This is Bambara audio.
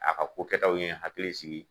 A ka ko kɛtaw ye n hakili sigi